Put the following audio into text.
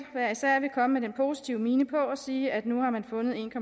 hver især vil komme med den positive mine på og sige at nu har man fundet en